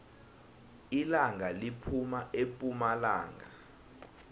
ilanga liphuma epumalanga